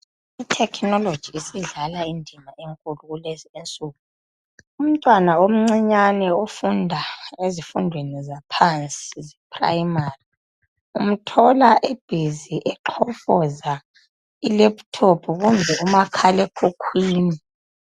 ITecnology isidlala indima enkulu kulezi insuku umtwana omncinyane ufunda ezifundweni zaphansi eprimary uyamthola egxofoza ileputhophu kumbe umakhalekhukhwini